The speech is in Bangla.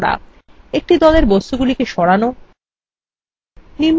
একটি দলের বস্তুগুলিকে সরান